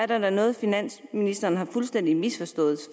der er noget finansministeren har fuldstændig misforstået